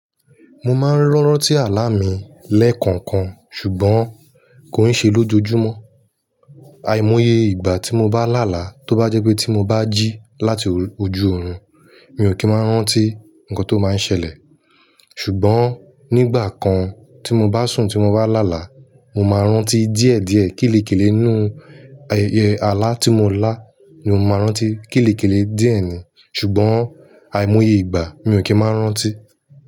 Mo máa ń rántí àlá mi lẹ́ẹ̀kọ̀ọ̀kan ṣùgbọ́n kò ń ṣe lójojúmọ́. Àìmọye ìgbà tí mo bá làálàá tó bá jẹ́ pé tí mo bá jí láti ojú oorun, mi ò kì í máa ń rántí nǹkan tó máa ń ṣẹlẹ̀. Ṣùgbọ́n nígbà kan tí mo bá sùn tí mo bá làálàá, mo máa ń rántí díẹ̀díẹ̀. Kélékèlè nú àlá tí mo lá ni mo máa ń rántí. Kélékèlè díẹ̀ ni, ṣùgbọ́n àìmọye ìgbà mi ò kí ń máa ń rántí.